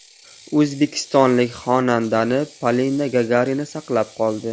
O‘zbekistonlik xonandani Polina Gagarina saqlab qoldi .